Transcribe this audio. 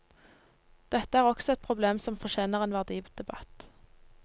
Dette er også et problem som fortjener en verdidebatt.